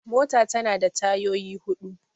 mota tana da tayyoyi hudu